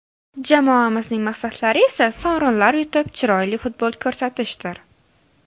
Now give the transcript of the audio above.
Jamoamizning maqsadlari esa sovrinlar yutib, chiroyli futbol ko‘rsatishdir.